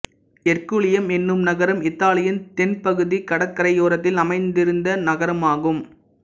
ஹெர்குலியம் என்னும் நகரம் இத்தாலியின் தென் பகுதி கடற்கரையோரத்தில் அமைந்திருந்த நகரமாகும்